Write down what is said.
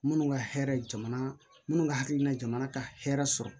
Minnu ka hɛrɛ jamana minnu ka hakilina jamana ka hɛrɛ sɔrɔ